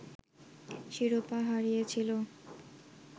শিরোপা হারিয়েছিল